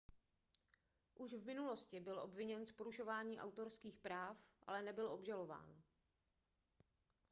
už v minulosti byl obviněn z porušování autorských práv ale nebyl obžalován